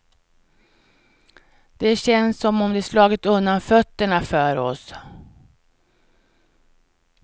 Det känns som om de slagit undan fötterna för oss.